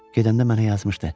Gedəndə mənə yazmışdı: